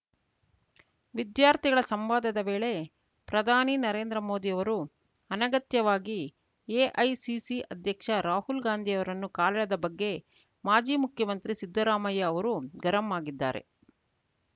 ವಿದ್ಯಾರ್ಥಿಗಳ ಸಂವಾದದ ವೇಳೆ ಪ್ರಧಾನಿ ನರೇಂದ್ರ ಮೋದಿಯವರು ಅನಗತ್ಯವಾಗಿ ಎಐಸಿಸಿ ಅಧ್ಯಕ್ಷ ರಾಹುಲ್ ಗಾಂಧಿಯವರನ್ನು ಕಾಲೆಳೆದ ಬಗ್ಗೆ ಮಾಜಿ ಮುಖ್ಯಮಂತ್ರಿ ಸಿದ್ಧರಾಮಯ್ಯ ಅವರು ಗರಂ ಆಗಿದ್ದಾರೆ